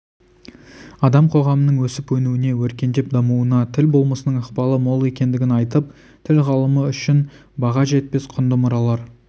адам қоғамының өсіп-өнуіне өркендеп дамуына тіл болмысының ықпалы мол екендігін айтып тіл ғылымы үшін баға жетпес құнды мұралар